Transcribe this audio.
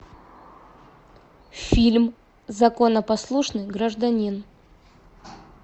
фильм законопослушный гражданин